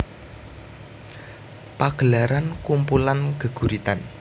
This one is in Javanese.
Pagelaran kumpulan geguritan